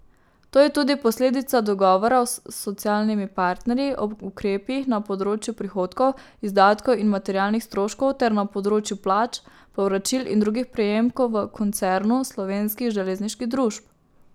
To je tudi posledica dogovora s socialnimi partnerji o ukrepih na področju prihodkov, izdatkov in materialnih stroškov ter na področju plač, povračil in drugih prejemkov v koncernu slovenskih železniških družb.